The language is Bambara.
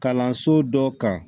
Kalanso dɔ kan